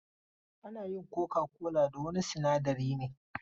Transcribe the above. Ana yin coca-cola da wani sinadari ne.